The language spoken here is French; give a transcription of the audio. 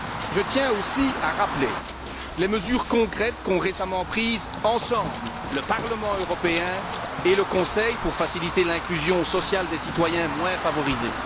Je tiens aussi à rappeler les mesures concrètes qu'ont récemment prises ensemble le Parlement européen et le Conseil pour faciliter l'inclusion sociale des citoyens moins favorisés.